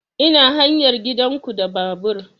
Ina hanyar gidan ku da babur